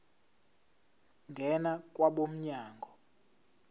ngena kwabo mnyango